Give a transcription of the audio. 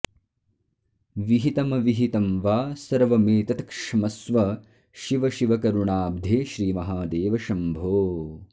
विहितमविहितं वा सर्वमेतत्क्ष्मस्व शिव शिव करुणाब्धे श्रीमहादेव शम्भो